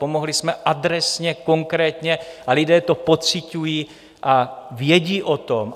Pomohli jsme adresně, konkrétně, a lidé to pociťují a vědí o tom.